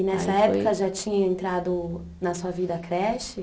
E nessa época já tinha entrado na sua vida a creche?